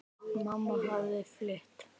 Mamma hafði fylgt